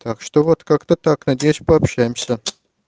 так что вот как-то так надеюсь пообщаемся